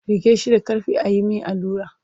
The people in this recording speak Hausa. Riƙe shi da ƙarfi a yi mai allura!